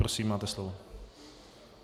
Prosím máte slovo.